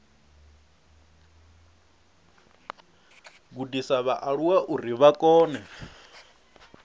gudisa vhaaluwa uri vha kone